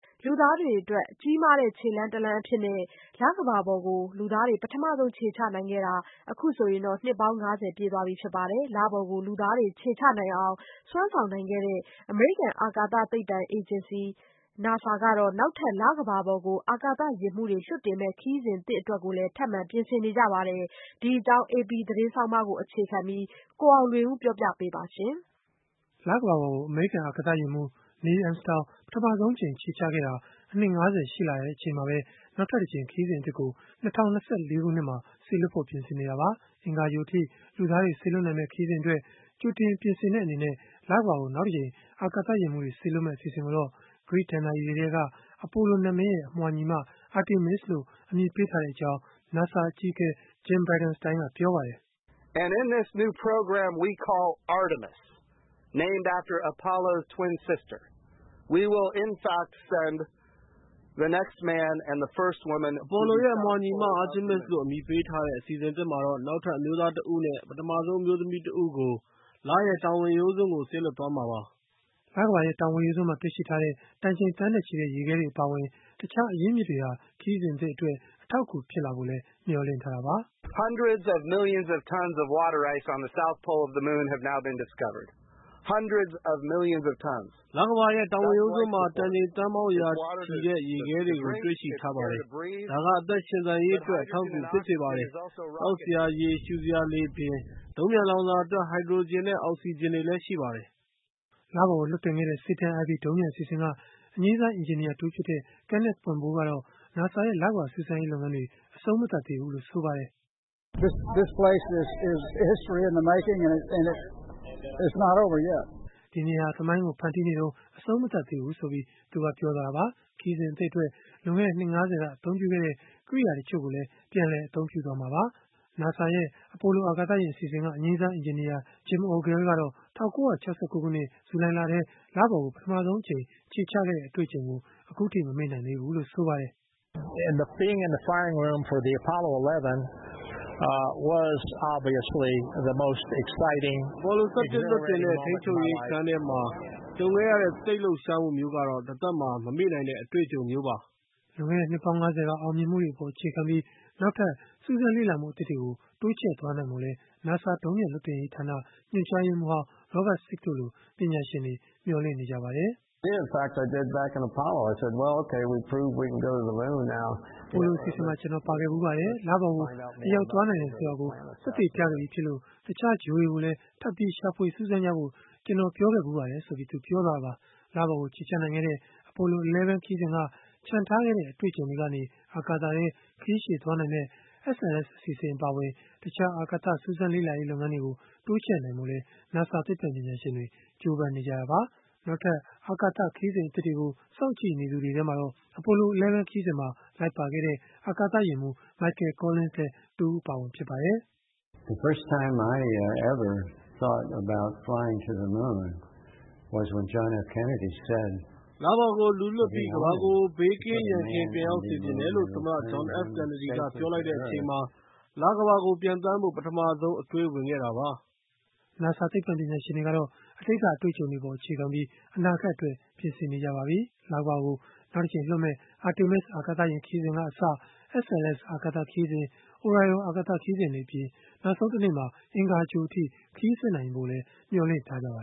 လူသားတွေအတွက် ကြီးမားတဲ့ ခြေလှမ်းတလှမ်းအဖြစ် လကမ္ဘာပေါ်ကို လူသားတွေ ပထမဆုံး ခြေချခဲ့တာ အခုဆိုရင် နှစ်ပေါင်း ၅၀ ပြည့်ခဲ့ပါပြီ။ လပေါ်ကို လူသားတွေ ခြေချနိုင်အောင် စွမ်းဆောင်ခဲ့တဲ့ အမေရိကန် အာကာသသိပ္ပံ အေဂျင်စီ NASA ကတော့ နောက်ထပ် လကမ္ဘာပေါ်ကို အာကာသယာဉ်မှူးတွေ လွှတ်တင်မယ့် ခရီးစဉ်သစ်အတွက်လည်း ထပ်မံပြင်ဆင်နေတာပါ။ ဒီအကြောင်း AP သတင်းဆောင်းပါးကိုတော့ ကိုအောင်လွင်ဦးက ပြောပြပေးမှာ ဖြစ်ပါတယ်။ လကမ္ဘာပေါ်ကို အမေရိကန် အာကာသယာဉ်မှူး Neil Armstrong ခြေချခဲ့တဲ့ အနှစ် ၅၀ ရှိလာချိန်မှာပဲ နောက်ထပ်တကြိမ် ခရီးစဉ်သစ်ကို ၂၀၂၄ ခုနှစ်မှာ စေလွှတ်ဖို့ ပြင်ဆင်နေတာပါ။ အင်္ဂါဂြိုဟ်အထိ လူသားတွေ စေလွှတ်မယ့် ခရီးစဉ်အတွက် ကြိုတင်လေ့ကျင့်တဲ့ အနေနဲ့ လကမ္ဘာကို နောက်တကြိမ် အာကာသယာဉ်မှူးတွေ စေလွှတ်မယ့် အစီအစဉ်ကိုတော့ ဂရိဒဏ္ဍာရီတွေထဲက အပိုလိုနတ်မင်းရဲ့ အမွှာညီမ Artemis လို့ အမည်ပေးထားကြောင်း NASA အကြီးအကဲ Jim Bridenstine ကပြောပါတယ်။ “အပိုလိုရဲ့ အမွှာညီမ Artemis လို့ အမည်ပေးထားတဲ့ အစီအစဉ်သစ်မှာတော့ နောက်ထပ် အမျိုးသားတဦးနဲ့ ပထမဆုံး အမျိုးသမီး တဦးကို လရဲ့တောင်ဝင်ရိုးစွန်းကို စေလွှတ်သွားမှာပါ။” လကမ္ဘာရဲ့ တောင်ဝင်ရိုးစွန်းမှာ တွေ့ရှိထားတဲ့ တန်ချိန်သန်းနဲ့ချီတဲ့ ရေခဲတွေ အပါအဝင် တခြားအရင်းအမြစ်တွေဟာ ခရီးစဉ်သစ်အတွက် အထောက်အကူ ဖြစ်လာဖို့လည်း မျှော်လင့်ထားတာပါ။ “လကမ္ဘာရဲ့ တောင်ဝင်ရိုးစွန်းမှာ တန်ချိန်သန်းပေါင်း ရာချီတဲ့ ရေခဲတွေကို တွေ့ရှိထားပါတယ်။ ဒါက အသက်ရှင်သန်ရေးအတွက် အထောက်အကူ ဖြစ်စေပါတယ်။ သောက်စရာရေ၊ ရှုစရာလေအပြင်၊ ဒုံးပျံလောင်စာအတွက် ဟိုက်ဒြိုဂျင်နဲ့ အောက်စီဂျင်တွေလည်း ရှိပါတယ်။” လပေါ်ကို လွှတ်တင်ခဲ့တဲ့ Saturn IB ဒုံးပျံအစီအစဉ်က အငြိမ်းစား အင်ဂျင်နီယာ Kenneth Poimboeuf ကတော့ NASA ရဲ့ လကမ္ဘာ စူးစမ်းရေး လုပ်ငန်းတွေ အဆုံးမသတ်သေးဘူးလို့ ဆိုပါတယ်။ “ဒီနေရာမှာ သမိုင်းကို ဖန်တီးနေတုန်းပါ၊ အဆုံးမသတ်သေးပါဘူး။” ခရီးစဉ်အသစ်အတွက် လွန်ခဲ့တဲ့ နှစ် ၅၀ က အသုံးပြုခဲ့တဲ့ ကရိယာတချို့ကိုလည်း ပြန်လည်အသုံးပြုသွားမှာပါ။ NASA ရဲ့ အပိုလို အာကာသယာဉ် အစီအစဉ်က အငြိမ်းစား အင်ဂျင်နီယာ Jim Ogle ကတော့ ၁၉၆၉ ခုနှစ် ဇူလိုင်လမှာ လပေါ်ကို ပထမဆုံး ခြေချခဲ့တဲ့ အတွေ့အကြုံကို အခုအထိ မမေ့နိုင်သေးပါဘူး။ “Apollo 11 လွှတ်တင်တဲ့ ထိန်းချုပ်ရေးခန်းထဲမှာ ကြုံခဲ့ရတဲ့ စိတ်လှုပ်ရှားမှုမျိုးကတော့ တသက်မှာ မမေ့နိုင်တဲ့ အတွေ့အကြုံမျိုးပါ။” လွန်ခဲ့တဲ့ နှစ်ပေါင်း ၅၀ က အောင်မြင်မှုတွေအပေါ် အခြေခံပြီး နောက်ထပ်စူးစမ်းလေ့လာမှု အသစ်တွေကို တိုးချဲ့နိုင်ဖို့လည်း NASA ဒုံးပျံလွှတ်တင်ရေးဌာန ညွှန်ကြားရေးမှူးဟောင်း Robert Sieck တို့လို ပညာရှင်တွေက မျှော်လင့်ထားကြပါတယ်။ “Apollo အစီအစဉ်မှာ ကျနော် ပါခဲ့ဖူးပါတယ်။ လပေါ်ကို အရောက်သွားနိုင်တယ်ဆိုတာကို သက်သေပြခဲ့ပြီးဖြစ်လို့ တခြားဂြိုဟ်တွေကိုလည်း ထပ်ပြီးရှာဖွေစူးစမ်းကြဖို့ ကျနော်ပြောခဲ့ဖူးပါတယ်။” လပေါ်ကို ခြေချနိုင်ခဲ့တဲ့ Apollo 11 ခရီးစဉ်က ချန်ထားခဲ့တဲ့ အတွေ့အကြုံတွေကနေ အာကာသထဲ ခရီးရှည်သွားနိုင်မယ့် SLS အစီအစဉ် အပါအဝင် တခြားအာကာသ စူးစမ်းလေ့လာရေး လုပ်ငန်းတွေကို တိုးချဲ့နိုင်ဖို့လည်း NASA သိပ္ပံပညာရှင်တွေ ကြိုးပမ်းနေကြတာပါ။ နောက်ထပ် အာကာသ ခရီးစဉ်သစ်တွေကို စောင့်ကြည့်နေသူတွေထဲမှာတော့ Apollo 11 ခရီးစဉ်မှာ လိုက်ပါခဲ့တဲ့ အာကာသယာဉ်မှူး Michael Collins လည်း တဦးအပါအဝင် ဖြစ်ပါတယ်။ “လပေါ်ကို လူလွှတ်ပြီး ကမ္ဘာကို ဘေးကင်းရန်ကင်း ပြန်ရောက်စေချင်တယ်လို့ သမ္မတ John F. Kennedy ပြောလိုက်တဲ့အချိန်မှာ လကမ္ဘာကို ပျံသန်းဖို့ ပထမဆုံး အတွေးဝင်ခဲ့တာပါ။” NASA သိပ္ပံပညာရှင်တွေကတော့ အတိတ်က အတွေ့အကြုံတွေအပေါ် အခြေခံပြီး အနာဂတ်အတွက် ပြင်ဆင်နေပါပြီ။ လကမ္ဘာကို နောက်တကြိမ်လွှတ်မယ့် Artemis အာကာသယာဉ် ခရီးစဉ်ကအစ SLS အာကာသခရီးစဉ်၊ Orion အာကာသယာဉ် ခရီးစဉ်တွေအပြင် နောက်ဆုံးတနေ့မှာ အင်္ဂါဂြိုဟ်အထိ ခရီးဆက်နိုင်ဖို့လည်း မျှော်မှန်းထားကြပါ